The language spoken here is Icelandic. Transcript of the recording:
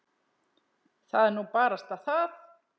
Það er nú barasta það.